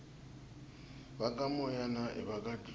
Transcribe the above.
vakamoyana ivaka dludla